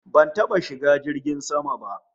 Ban taba shiga jirgin sama ba